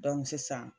sisan